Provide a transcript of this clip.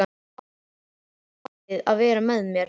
Þú áttir skilið að vera með mér.